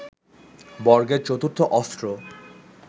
বর্গের চতুর্থ অস্ত্র